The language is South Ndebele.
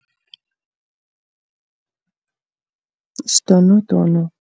Isidonodono.